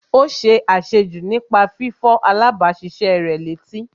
Ó ṣe àṣejù nípa fífọ̀ alábàáṣiṣé rẹ̀ létí